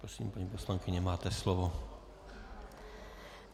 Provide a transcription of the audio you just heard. Prosím, paní poslankyně, máte slovo.